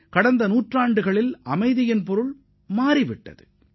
கடந்த நூறு ஆண்டுகளில் அமைதிக்கான அர்த்தம் மாறியுள்ளது